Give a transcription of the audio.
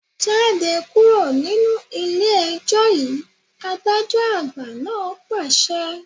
Jáde kúrò nínú ilé ẹjọ́ yìí, adájọ́ àgbà náà pàṣẹ